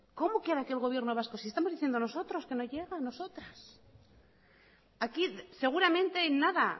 cómo que ahora el gobierno vasco si estamos diciendo nosotros que no llega nosotros aquí seguramente en nada